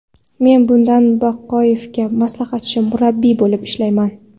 Men bunda Baqoyevga maslahatchi murabbiy bo‘lib ishlamayman.